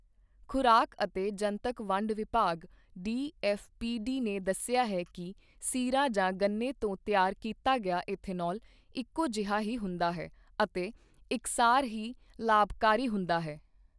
ਖ਼ੁਰਾਕ ਅਤੇ ਜਨਤਕ ਵੰਡ ਵਿਭਾਗ ਡੀਐੱਫ਼ਪੀਡੀ ਨੇ ਦੱਸਿਆ ਹੈ ਕਿ ਸੀਰਾ ਜਾਂ ਗੰਨੇ ਤੋਂ ਤਿਆਰ ਕੀਤਾ ਗਿਆ ਈਥੇਨੌਲ ਇੱਕੋ ਜਿਹਾ ਹੀ ਹੁੰਦਾ ਹੈ ਅਤੇ ਇਕਸਾਰ ਹੀ ਲਾਭਕਾਰੀ ਹੁੰਦਾ ਹੈ।